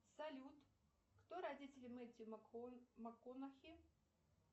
салют кто родители мэтью макконахи